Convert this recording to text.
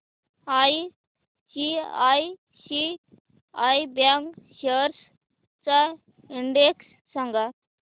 ICICI bank shares चा index सांगा